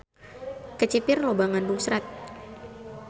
Kecipir loba ngandung serat.